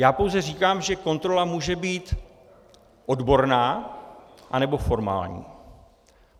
Já pouze říkám, že kontrola může být odborná, anebo formální.